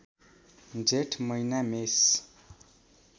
जेठ महिना मेष